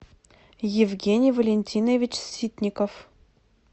евгений валентинович ситников